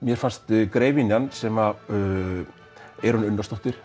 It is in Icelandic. mér fannst sem Eyrún Unnarsdóttir